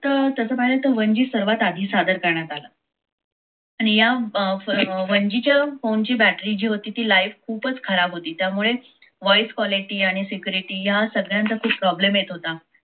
का तसं पाहिलं त one g सर्वातआधी सर्वात आधी सादर करण्यात आला आणि या one g च्या phone ची battry जी होती ती life ते खूपच खराब होती त्यामुळे voice quality आणि security या सगळ्यांचा खुप problem येत होता.